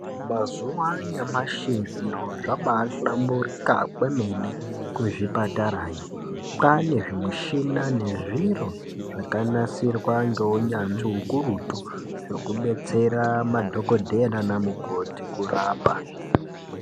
Mazuva anyamashi zviro zvaba ihlamborikakwemene kuzvipatarayo kwana zvimuchina nezviro zvakanasirwa ngeunyatsvi ukurutu zvekubetsera madhokodhera nanamukoti kurapa.